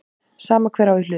Sama hver á í hlut.